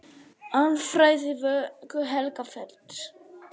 Alfræði Vöku-Helgafells.